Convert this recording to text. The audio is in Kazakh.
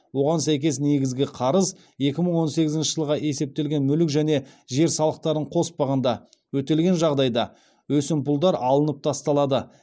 оған сәйкес негізгі қарыз өтелген жағдайда өсімпұлдар алынып тасталады